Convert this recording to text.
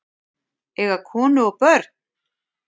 Eiga konu og börn?